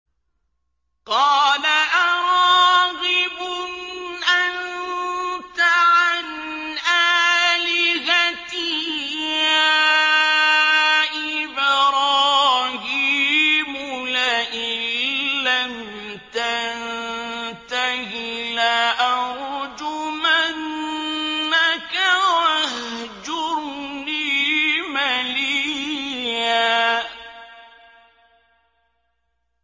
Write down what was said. قَالَ أَرَاغِبٌ أَنتَ عَنْ آلِهَتِي يَا إِبْرَاهِيمُ ۖ لَئِن لَّمْ تَنتَهِ لَأَرْجُمَنَّكَ ۖ وَاهْجُرْنِي مَلِيًّا